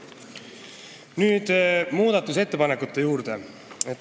Nüüd muudatusettepanekute juurde.